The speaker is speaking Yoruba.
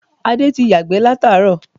Adé ti yàgbẹ́ látàárọ̀